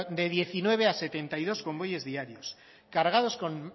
de diecinueve a setenta y dos convoyes diarios cargados con